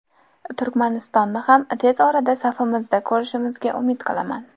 Turkmanistonni ham tez orada safimizda ko‘rishimizga umid qilaman.